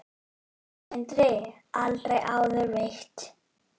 Sindri: Aldrei áður veitt?